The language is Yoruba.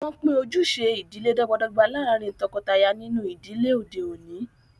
Wọn pin ojúṣẹ̀ idílẹ̀ dọ̀gbàdọ̀gbà lárìn tókọtàyà nínú idílẹ̀ ọdẹ̀ ọ̀ní.